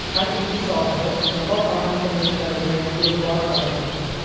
Har ikki soatda niqob almashtirishlariga e’tibor qaratildi.